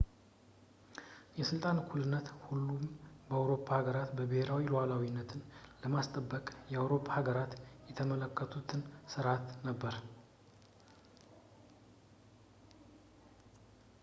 የስልጣን እኩልነት የሁሉንም የአውሮፓ ሀገራትን ብሄራዊ ሉዓላዊነትን ለማስጠበቅ የአውሮፓ ሀገራት የተመለከቱት ስርዓት ነበር